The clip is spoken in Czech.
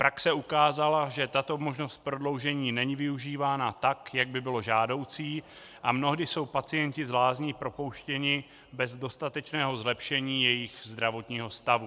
Praxe ukázala, že tato možnost prodloužení není využívána tak, jak by bylo žádoucí, a mnohdy jsou pacienti z lázní propouštěni bez dostatečného zlepšení jejich zdravotního stavu.